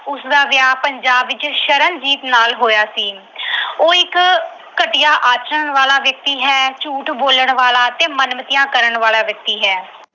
ਇਕਾਂਗੀ ਵਿੱਚ ਮੁੱਖ ਪਾਤਰ ਹੈ। ਉਸਦਾ ਵਿਆਹ ਪੰਜਾਬ ਵਿੱਚ ਸ਼ਰਨਜੀਤ ਨਾਲ ਹੋਇਆ ਸੀ। ਉਹ ਇੱਕ ਘਟੀਆ ਆਚਰਨ ਵਾਲਾ ਵਿਅਕਤੀ ਹੈ, ਝੂਠ ਬੋਲਣ ਵਾਲਾ ਅਤੇ ਮਨਮਤੀਆਂ ਕਰਨ ਵਾਲਾ ਵਿਅਕਤੀ ਹੈ।